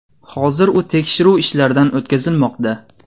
Hozir u tekshiruv ishlaridan o‘tkazilmoqda.